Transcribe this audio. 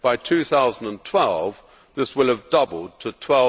by 2012 this will have doubled to EUR